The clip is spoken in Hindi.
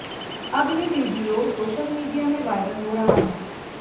अब ये वीडियो सोशल मीडिया में वायरल हो रहा है